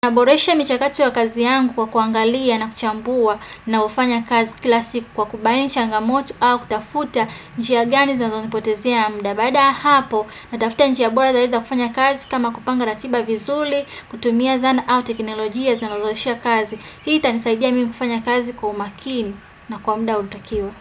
Naboresha michakato ya kazi yangu kwa kuangalia na kuchambua na hufanya kazi kila siku kwa kubaini changamoto au kutafuta njia gani zanazonipotezea muda baada ya hapo na tafuta njia bora zaidi za kufanya kazi kama kupanga ratiba vizuri, kutumia zana au teknolojia zanazoshia kazi. Hii itanisaidia mimi kufanya kazi kwa umakini na kwa muda una takiwa.